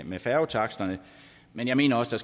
med færgetaksterne men jeg mener også at